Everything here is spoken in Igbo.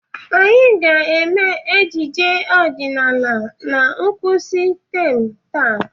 Anyị ga-eme ejije ọdịnala na ngwụsị taam a.